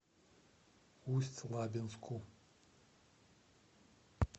усть лабинску